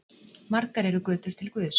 Margar eru götur til guðs.